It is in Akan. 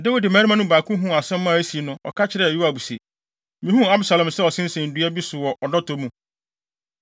Dawid mmarima no baako huu asɛm a asi no, ɔka kyerɛɛ Yoab se, “Mihuu Absalom sɛ ɔsensɛn dua bi so wɔ ɔdɔtɔ mu.”